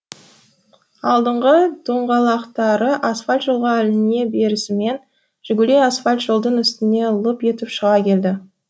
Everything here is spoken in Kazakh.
алдыңғы доңғалақтары асфальт жолға іліне берісімен жигули асфальт жолдың үстіне лып етіп шыға келді